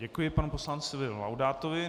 Děkuji panu poslanci Laudátovi.